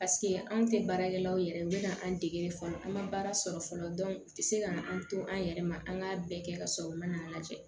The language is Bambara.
anw tɛ baarakɛlaw yɛrɛ bɛ na an dege fɔlɔ an ma baara sɔrɔ fɔlɔ u tɛ se ka an to an yɛrɛ ma an ka bɛɛ kɛ ka sɔrɔ u man lajɛ